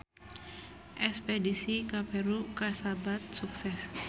Espedisi ka Peru kasebat sukses